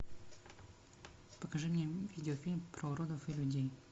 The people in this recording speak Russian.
покажи мне видеофильм про уродов и людей